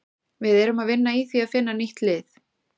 Við erum að vinna í því að finna nýtt lið.